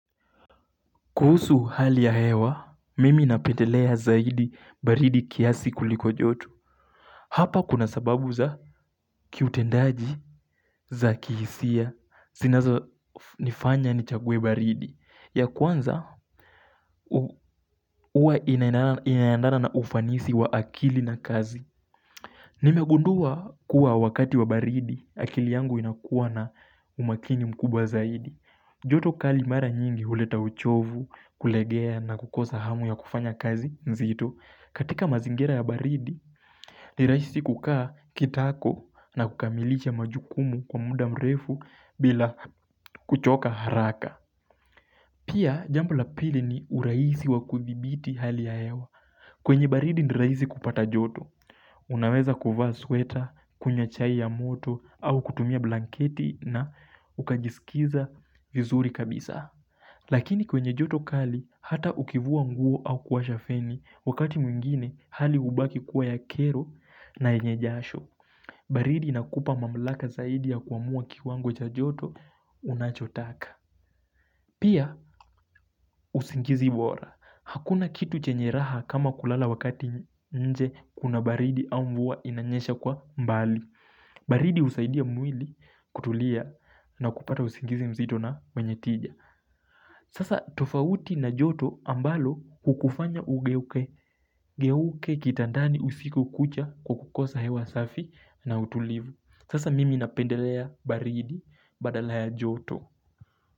Kuhusu hali ya hewa, mimi napendelea zaidi baridi kiasi kuliko joto. Hapa kuna sababu za kiutendaji za kihisia. Zinazo nifanya ni chague baridi. Ya kwanza uwa inaendana na ufanisi wa akili na kazi. Nimegundua kuwa wakati wa baridi, akili yangu inakuwa na umakini mkubwa zaidi. Joto kali mara nyingi huleta uchovu kulegea na kukosa hamu ya kufanya kazi. Nzito katika mazingera ya baridi niraishi kukaa kitako na kukamilisha majukumu kwa muda mrefu bila kuchoka haraka Pia jambo la pili ni urahisi wa kudhibiti hali ya hewa. Kwenye baridi ni rahisi kupata joto Unaweza kuvaa sweta, kunywa chai ya moto au kutumia blanketi na ukajisikiza vizuri kabisa Lakini kwenye joto kali hata ukivua nguo au kuwasha feni wakati mwengine hali ubaki kuwa ya kero na yenye jasho. Baridi inakupa mamlaka zaidi ya kuamua kiwango cha joto unachotaka Pia usingizi bora hakuna kitu chenye raha kama kulala wakati nje kuna baridi au mvua inanyesha kwa mbali. Baridi usaidia mwili kutulia na kupata usingizi mzito na wenye tija Sasa tofauti na joto ambalo hukufanya ugeuke geuke kitandani usiku kucha kwa kukosa hewa safi na utulivu sasa mimi napendelea baridi badala ya joto.